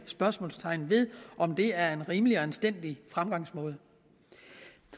spørgsmål ved om det er en rimelig og anstændig fremgangsmåde